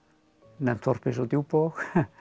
nefnt þorp eins og Djúpavog